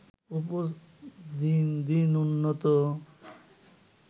দিন দিন উন্নত